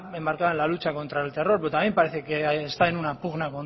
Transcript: embarcada en la lucha contra el terror pero también parece que está en una pugna